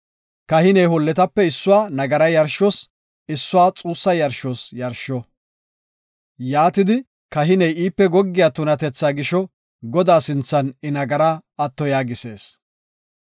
Kahiney holletape issuwa nagaraa yarshos, issuwa xuussa yarshos yarsho. Yaatidi, kahiney iipe goggiya tunatethaa gisho Godaa sinthan I nagaraa atto yaagisees.